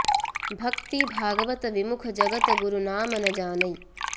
भक्ति भागवत बिमुख जगत गुरु नाम न जानैं